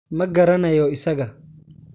Ma garanayo isaga.